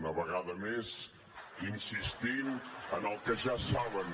una vegada més insistint en el que ja saben